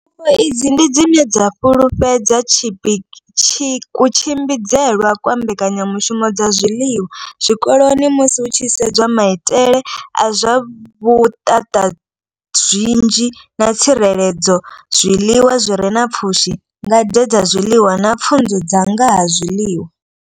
Pfufho idzi ndi dzine dza fhululedza kutshimbidzelwe kwa mbekanyamushumo dza zwiḽiwa zwikoloni musi hu tshi sedzwa maitele a zwa vhutatazwinzhi na tsireledzo, zwiḽiwa zwi re na pfushi, ngade dza zwiḽiwa na pfunzo dza nga ha zwiḽiwa.